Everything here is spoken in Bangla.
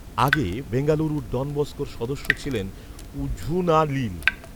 আগে বেঙ্গালুরুর ডন বসকোর সদস্য ছিলেন উঝুনালিল